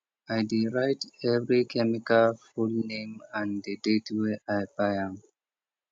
i dey write every chemical full name and the date wey i buy am